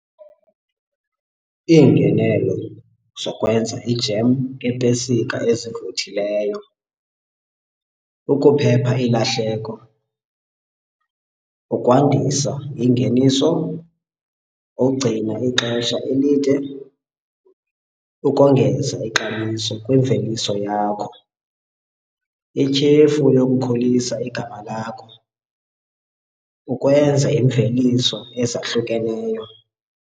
Iingenelo zokwenza ijem ngeepesika ezivuthileyo, ukuphepha ilahleko, ukwandisa ingeniso, ugcina ixesha elide, ukongeza ixabiso kwimveliso yakho, ityhefu yokukhulisa igama lakho, ukwenza iimveliso ezahlukeneyo.